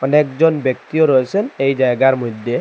অনেকজন ব্যক্তিও রয়েছেন এই জায়গার মইধ্যে ।